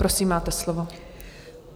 Prosím, máte slovo.